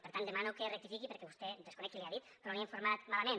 per tant demano que rectifiqui perquè a vostè desconec qui li ha dit però l’han informat malament